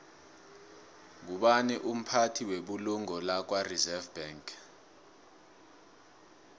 ngubani umphathi webulungo lakwareserve bank